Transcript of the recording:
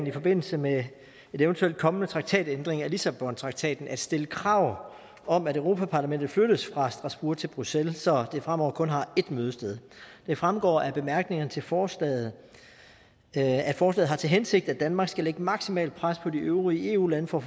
i forbindelse med en eventuelt kommende traktatændring af lissabontraktaten at stille krav om at europa parlamentet flyttes fra strasbourg til bruxelles så det fremover kun har ét mødested det fremgår af bemærkningerne til forslaget at forslaget har til hensigt at danmark skal lægge maksimalt pres på de øvrige eu lande for